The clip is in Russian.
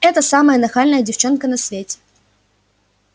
это самая нахальная девчонка на свете